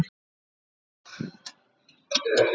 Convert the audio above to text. Og við hana.